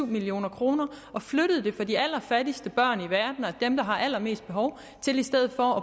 million kroner og flyttede dem fra de allerfattigste børn i verden og dem der har allermest behov til i stedet for